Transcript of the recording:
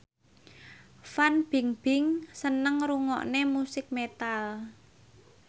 Fan Bingbing seneng ngrungokne musik metal